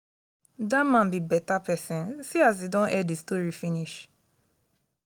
dat man be beta person see as he don air the story finish